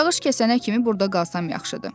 Yağış kəsənə kimi burda qalsam yaxşıdır.